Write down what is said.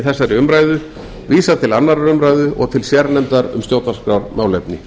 þessari umræðu vísað til annarrar umræðu og til sérnefndar um stjórnarskrármálefni